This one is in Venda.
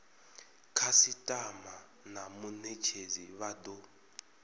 khasitama na munetshedzi vha do